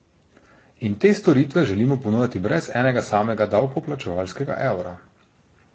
In te storitve želimo ponujati brez enega samega davkoplačevalskega evra.